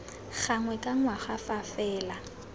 gangwe ka ngwaga fa fela